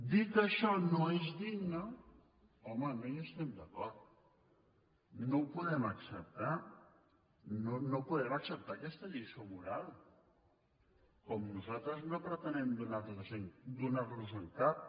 dir que això no és digne home no hi estem d’acord no ho podem acceptar no podem acceptar aquesta lliçó moral com nosaltres no pretenem donar los en cap